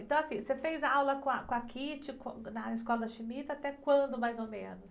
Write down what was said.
Então, assim, você fez aula com a, com a, com, na escola da, até quando, mais ou menos?